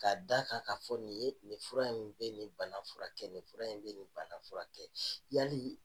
K' da kan ka fɔ nin ye, nin fura in bɛ ni bana fura kɛ, nin fura in bɛ nin bana fura kɛ yali